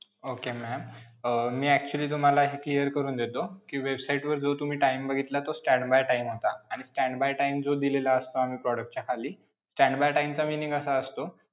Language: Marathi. Okay ma'am. अं मी actually तुम्हाला हे clear करून देतो कि website वर जे तुम्ही time बघितला तो stand by time होता आणि stand by time जो दिलेला असतो आम्ही product च्या खाली, stand by time चा meaning असा असतो,